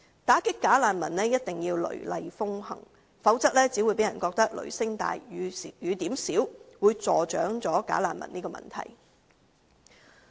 打擊"假難民"一定要雷厲風行，否則只會讓人覺得"雷聲大、雨點少"，助長"假難民"的問題。